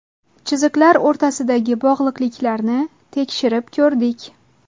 Chiziqlar o‘rtasidagi bog‘liqliklarni tekshirib ko‘rdik.